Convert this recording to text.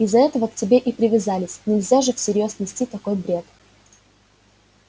из-за этого к тебе и привязались нельзя же всерьёз нести такой бред